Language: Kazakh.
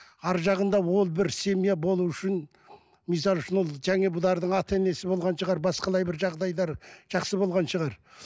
арғы жағында ол бір семья болу үшін мысалы үшін ол жаңа бұлардың ата енесі болған шығар басқалай бір жағдайлар жақсы болған шығар